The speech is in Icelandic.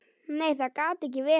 Nei, það gat ekki verið.